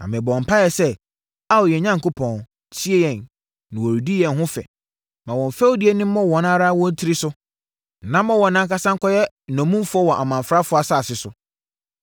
Na mebɔɔ mpaeɛ sɛ, “Ao yɛn Onyankopɔn, tie yɛn, na wɔredi yɛn ho fɛ. Ma wɔn fɛdie no mmɔ wɔn ara wɔn tiri so, na ma wɔn ankasa nkɔyɛ nnommumfoɔ wɔ amamfrafoɔ asase so.